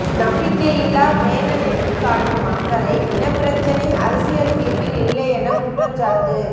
நம்பிக்கை இல்லாப் பிரேரணைக்கு காட்டும் அக்கறை இனப்பிரச்சினை அரசியல் தீர்வில் இல்லை என குற்றச்சாட்டு